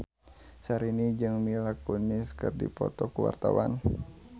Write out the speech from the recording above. Syahrini jeung Mila Kunis keur dipoto ku wartawan